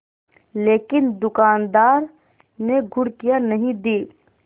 लेकिन दुकानदार ने घुड़कियाँ नहीं दीं